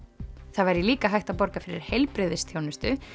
það væri líka hægt að borga fyrir heilbrigðisþjónustu